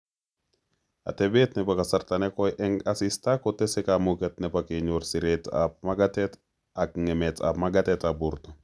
Atebet nebo kasarta nekoi eng' asista kotese kamuget nebo kenyor siretab magatet ak ng'emetab magatetab borto